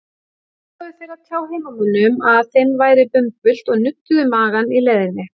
Ákváðu þeir að tjá heimamönnum að þeim væri bumbult og nudduðu magann í leiðinni.